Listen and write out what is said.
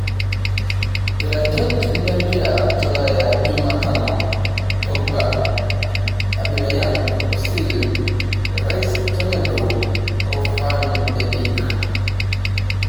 Iratiot lempira tolaya jumatano; Pogba, Abameyang' Osil, Rice tenebo o Van de beek